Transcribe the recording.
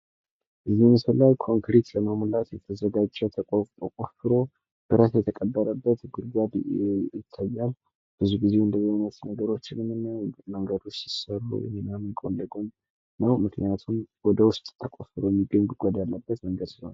ስነ ህንጻ የውበትንና የተግባራዊነትን ሚዛን በመጠበቅ ለተጠቃሚዎች ደስታን የሚፈጥሩ ልዩ የሆኑ የቦታ አደረጃጀቶችን ያቀርባል፤ ግንባታ ደግሞ እነዚህን ራዕዮች እውን ያደርጋል።